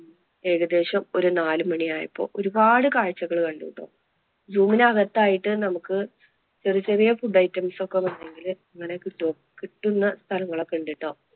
ഏകദേശം ഒരു നാലു മണി ആയപ്പോൾ ഒരുപാട് കാഴ്ചകൾ കണ്ടുട്ടോ. zoo വിന് അകത്തായിട്ട് നമുക്ക് ചെറിയ ചെറിയ food items ഒക്കെ വേണെങ്കിൽ അങ്ങനെ കിട്ടും. കിട്ടുന്ന സ്ഥലങ്ങൾ ഒക്കെ ഉണ്ടെട്ടോ.